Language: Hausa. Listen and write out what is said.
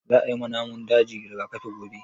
Za a yi ma namun daji rigakafi gobe